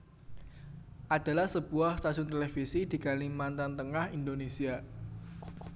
adalah sebuah stasiun televisi di Kalimantan Tengah Indonesia